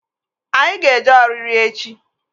Anyị ga-eje ọriri echi